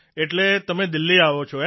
એટલે તમે દિલ્હી આવો છો